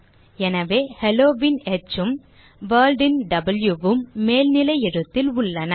எனவே hello ன் ஹ் உம் World ன் வாவ் உம் மேல்நிலை எழுத்தில் உள்ளன